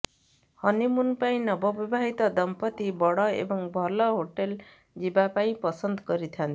honeymoon ପାଇଁ ନବବିବାହିତ ଦମ୍ପତି ବଡ଼ ଏବଂ ଭଲ ହୋଟେଲ ଯିବା ପାଇଁ ପସନ୍ଦ କରିଥାନ୍ତି